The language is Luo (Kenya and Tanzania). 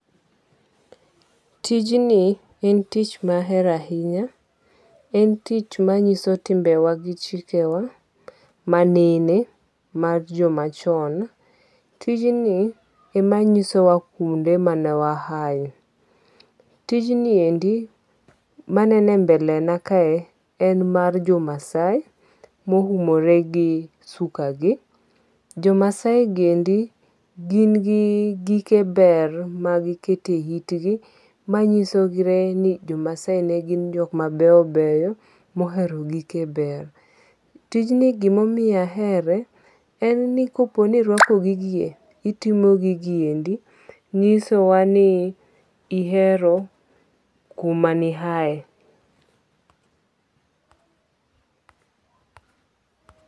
Tijni en tich mahero ahinya. En tich manyiso timbe wa gi chike wa manene mar joma chon. Tijni emanyisowa kuonde mane wa ae. Tijnieni manene e mbele na kae en mar jo Maasai mo umore gi suka gi. Jo Maasai gi endi gin gi gike ber ma giketo e it gi machisore ni jo Maasai ne gin jok ma beyo beyo mohero gike ber. Tijni gimomoyo ahere en ni kopo ni irwako gigie itimo gigiendi nyisowa ni ihero kuma ne iae.